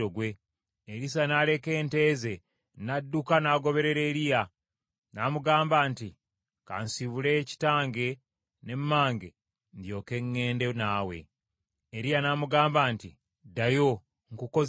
Erisa n’aleka ente ze, n’adduka ng’agoberera Eriya. N’amugamba nti, “Ka nsibule kitange ne mmange, ndyoke ŋŋende naawe.” Eriya n’amugamba nti, “Ddayo, nkukoze ki?”